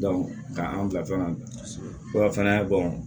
ka an bila fɛn na fana